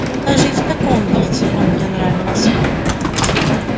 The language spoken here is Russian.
но даже и в таком виде он мне нравился